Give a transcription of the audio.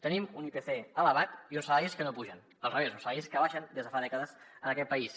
tenim un ipc elevat i uns salaris que no pugen al revés uns salaris que baixen des de fa dècades en aquest país